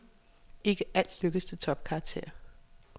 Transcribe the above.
Ikke alt lykkes til topkarakterer.